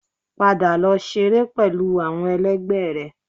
Padà lọ ṣeré pẹlú àwọn ẹlẹgbẹ́ rẹ